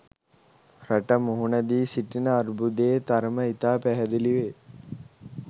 රට මුහුණ දී සිටින අර්බුදයේ තරම ඉතා පැහැදිලි වේ.